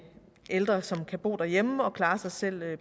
ældre som kan bo derhjemme og klare sig selv